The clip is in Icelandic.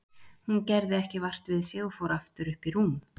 Hún gerði ekki vart við sig og fór aftur upp í rúm.